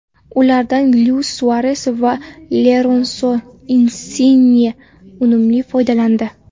Ulardan Luis Suares va Lorenso Insinye unumli foydalandi.